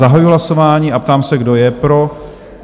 Zahajuji hlasování a ptám se, kdo je pro?